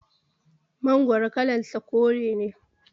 Mangoro kalan sa kore ne